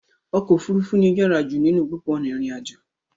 Ọkọ̀ òfurufú ní o yàrá jù ninu gbó ona irin àjò.